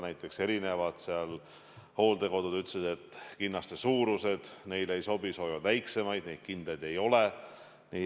Samas eri hooldekodud ütlesid, et kinnaste suurused neile ei sobi, nad soovivad väiksemaid, neid kindaid ei ole.